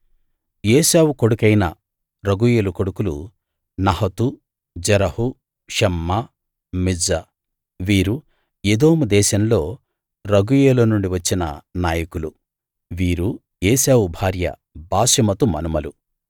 ఏశావు కొడుకైన రగూయేలు కొడుకులు నహతు జెరహు షమ్మా మిజ్జా వీరు ఎదోము దేశంలో రగూయేలు నుండి వచ్చిన నాయకులు వీరు ఏశావు భార్య బాశెమతు మనుమలు